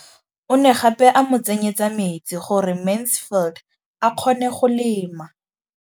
O ne gape a mo tsenyetsa metsi gore Mansfield a kgone go lema.